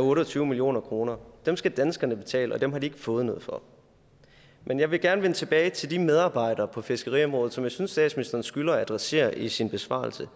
otte og tyve million kroner dem skal danskerne betale og dem har de ikke fået noget for men jeg vil gerne vende tilbage til de medarbejdere på fiskeriområdet som jeg synes statsministeren skylder at adressere i sin besvarelse